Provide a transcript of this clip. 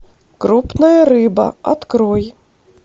крупная рыба открой